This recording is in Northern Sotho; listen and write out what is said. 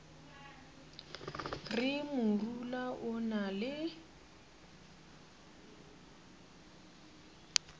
re morula o na le